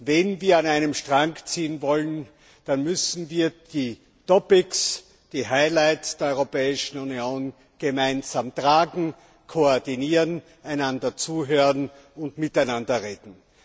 Wenn wir an einem Strang ziehen wollen, dann müssen wir die Topics, die Highlights der Europäischen Union gemeinsam tragen, koordinieren, einander zuhören und miteinander reden.